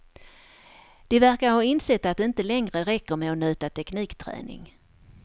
De verkar ha insett att det inte längre räcker med att nöta teknikträning.